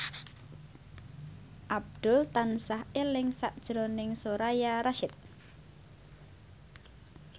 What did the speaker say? Abdul tansah eling sakjroning Soraya Rasyid